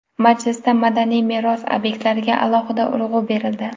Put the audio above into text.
Majlisda madaniy meros obyektlariga alohida urg‘u berildi.